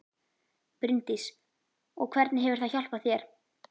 Bryndís: Og hvernig hefur það hjálpað þér?